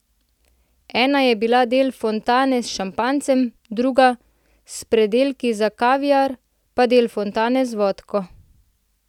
Ena je bila del fontane s šampanjcem, druga, s predelki za kaviar, pa del fontane z vodko.